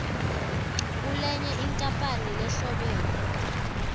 kulenye inkampani lehlobene